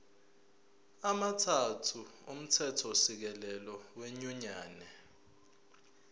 amathathu omthethosisekelo wenyunyane